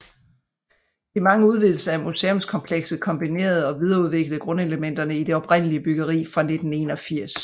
De mange udvidelser af museumskomplekset kombinerede og videreudviklede grundelementerne i det oprindelig byggeri fra 1981